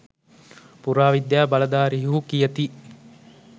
පුරාවිද්‍යා බලධාරීහු කියති.